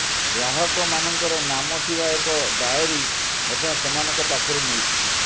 ଗ୍ରାହକମାନଙ୍କର ନାମ ଥିବା ଏକ ଡାଏରି ମଧ୍ୟ ସେମାନଙ୍କ ପାଖରୁ ମିଳିଛି